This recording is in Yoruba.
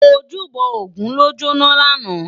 Ójúbò ógùn ló jóná làná